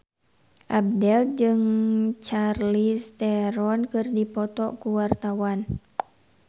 Abdel jeung Charlize Theron keur dipoto ku wartawan